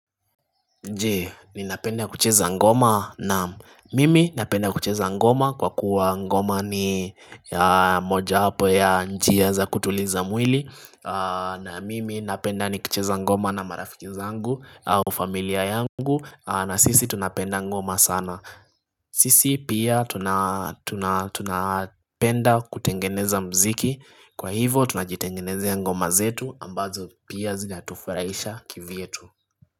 Je ninapenda kucheza ngoma naam mimi napenda kucheza ngoma kwa kuwa ngoma ni ya moja wapo ya njia za kutuliza mwili na mimi napenda nikicheza ngoma na marafiki zangu au familia yangu na sisi tunapenda ngoma sana sisi pia tuna tunapenda kutengeneza mziki kwa hivo tunajitengenezea ngoma zetu ambazo pia zinatufurahisha kivyetu.